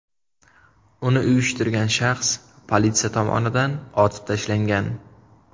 Uni uyushtirgan shaxs politsiya tomonidan otib tashlangan.